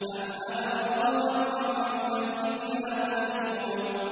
أَمْ أَبْرَمُوا أَمْرًا فَإِنَّا مُبْرِمُونَ